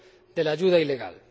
de la ayuda ilegal.